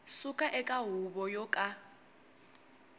suka eka huvo yo ka